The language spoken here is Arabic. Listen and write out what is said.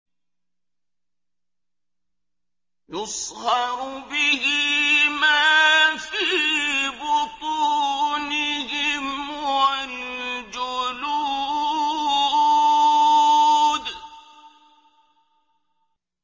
يُصْهَرُ بِهِ مَا فِي بُطُونِهِمْ وَالْجُلُودُ